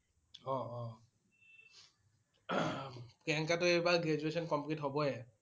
অ' অ' হম প্ৰিয়ংকাটোএইবাৰ graduation complete হবয়ে।